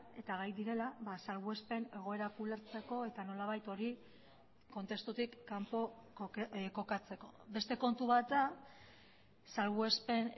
eta gai direla salbuespen egoerak ulertzeko eta nolabait hori kontestutik kanpo kokatzeko beste kontu bat da salbuespen